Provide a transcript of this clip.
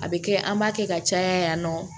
A bɛ kɛ an b'a kɛ ka caya yan nɔ